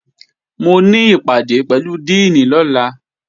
Mo ní ìpàdé pẹ̀lú díìnì lọ́la